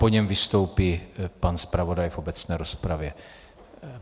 Po něm vystoupí pan zpravodaj v obecné rozpravě.